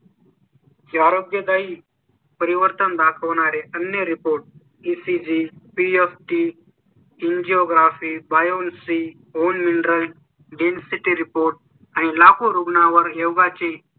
चे आरोग्यदायी परिवर्तन दाखवणारे आणि Report ecg free off off ती इन जिऑ ग्राफी बायो इन जिऑ ग्राफी बायो लसीं होऊन mineral density report आणि लाखो रुग्णां वर योगा ची